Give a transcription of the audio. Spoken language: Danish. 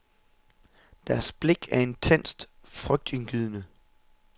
Deres blik er intenst, frygtindgydende.